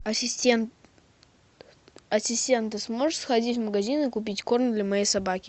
ассистент ассистент ты сможешь сходить в магазин и купить корм для моей собаки